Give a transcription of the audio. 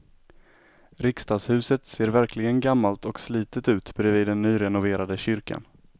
Riksdagshuset ser verkligen gammalt och slitet ut bredvid den nyrenoverade kyrkan.